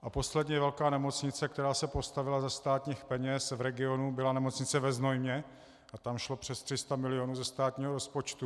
A poslední velká nemocnice, která se postavila ze státních peněz v regionu, byla Nemocnice ve Znojmě a tam šlo přes 300 milionů ze státního rozpočtu.